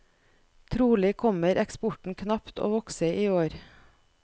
Trolig kommer eksporten knapt å vokse i år.